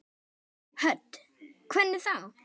Hödd: Hvernig þá?